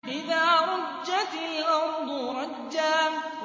إِذَا رُجَّتِ الْأَرْضُ رَجًّا